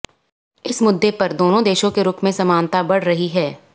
इस मुद्दे पर दोनों देशों के रुख में समानता बढ़ रही है